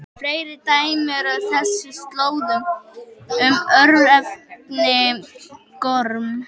Fleiri dæmi eru á þessum slóðum um örnefnið Gorm.